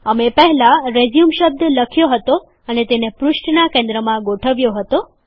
અમે પહેલાં રેઝયુમ શબ્દ લખ્યો હતો અને તેને પૃષ્ઠનાં કેન્દ્રમાં ગોઠવ્યો હતો